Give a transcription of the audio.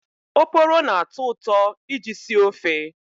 Oporo na-atọ ụtọ iji sie ofe.